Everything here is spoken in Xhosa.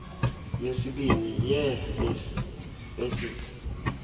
yesibini yee facets